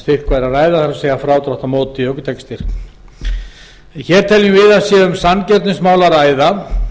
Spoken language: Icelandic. ræða það er frádráttur á móti ökutækjastyrk hér er um sanngirnismál að ræða